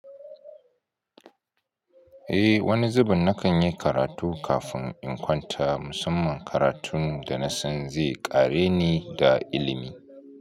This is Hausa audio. Eh, wani zubin na kan yi karatu kafin in kwanta. Musamman karatun da na san zai kare ni da ilimi.